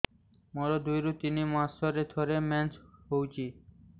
ମୋର ଦୁଇରୁ ତିନି ମାସରେ ଥରେ ମେନ୍ସ ହଉଚି